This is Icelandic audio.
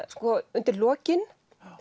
undir lokin